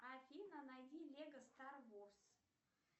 афина найди лего стар ворс